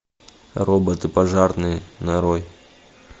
роботы пожарные нарой